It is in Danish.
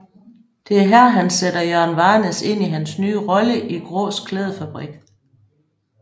Det er her han sætter Jørgen Varnæs ind i hans nye rolle i Graas Klædefabrik